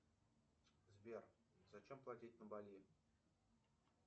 сбер зачем платить на бали